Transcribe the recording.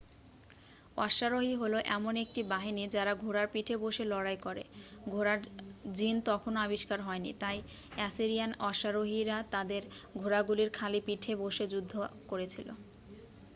অশ্বারোহী হলো এমন একটি বাহিনী যারা ঘোড়ার পিঠে বসে লড়াই করে ঘোড়ার জিন তখনও আবিষ্কার হয়নি তাই অ্যাসিরিয়ান অশ্বারোহীরা তাদের ঘোড়াগুলির খালি পিঠে বসে যুদ্ধ করেছিল